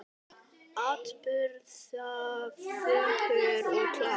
Afburða fögur og klár.